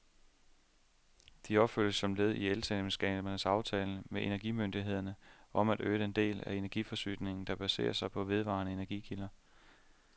De opføres som led i elselskabernes aftale med energimyndighederne om at øge den del af energiforsyningen, der baserer sig på vedvarende energikilder.